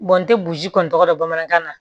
n tɛ burusi kɔni tɔgɔ dɔn bamanankan na